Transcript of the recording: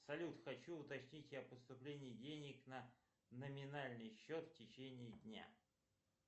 салют хочу уточнить о поступлении денег на номинальный счет в течении дня